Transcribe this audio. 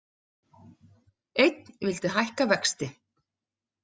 Einn vildi hækka vexti